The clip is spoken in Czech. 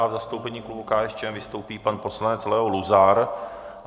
A v zastoupení klubu KSČM vystoupí pan poslanec Leo Luzar.